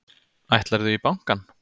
Ætlarðu í bankann?